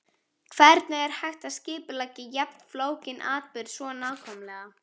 Hvernig er hægt að skipuleggja jafn flókinn atburð svo nákvæmlega?